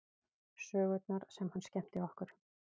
Sögurnar sem hann skemmti okkur